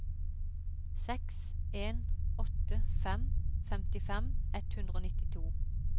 seks en åtte fem femtifem ett hundre og nittito